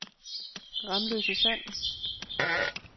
Ramløse Sand